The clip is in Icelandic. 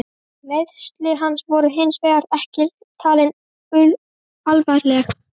Meiðsli hans voru hins vegar ekki talin alvarleg.